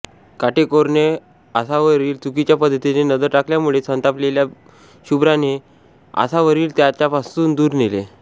काटेकोरने आसावरीवर चुकीच्या पद्धतीने नजर टाकल्यामुळे संतापलेल्या शुभ्राने आसावरीला त्याच्यापासून दूर नेले